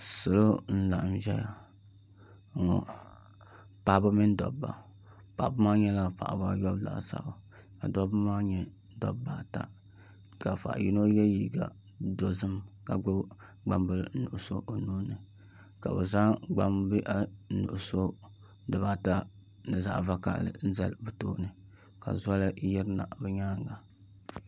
Salo n laɣam ʒɛya ŋɔ paɣaba mini dabba paɣaba maa nyɛla paɣaba ayobu laasabu ka dabba maa nyɛ dabba ata ka zaɣ yino yɛ liiga dozim ka gbubi gbambili nuɣso o nuuni ka bi zaŋ gbambihi nuɣso n zali ni zaɣ vakaɣali ka zoli yirina bi nyaanga